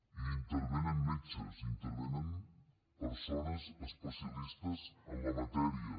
i hi intervenen metges hi intervenen persones especialistes en la matèria